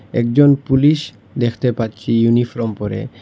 একজন পুলিশ দেখতে পাচ্ছি ইউনিফ্রম পড়ে।